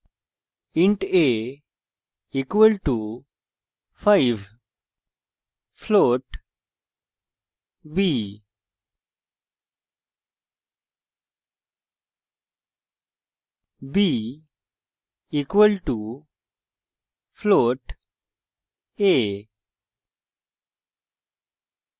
int a = 5 float b b = float a